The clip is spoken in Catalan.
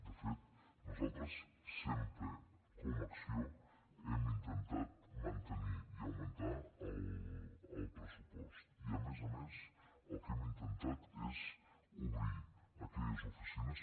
de fet nosaltres sempre com a acció hem intentat mantenir i augmentar el pressupost i a més a més el que hem intentat és obrir aquelles oficines